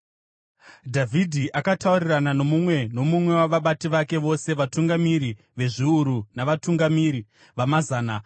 Dhavhidhi akataurirana nomumwe nomumwe wavabati vake vose, vatungamiri vezviuru, navatungamiri vamazana.